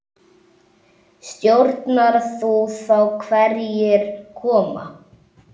Stjórnar þú þá hverjir koma?